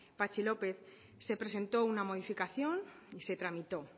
patxi lópez se presentó una modificación y se tramitó